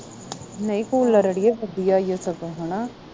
ਨਹੀਂ ਕੂਲਰ ਅੜੀਏ ਵਧੀਆ ਇਓ ਸਗੋਂ ਹਣਾ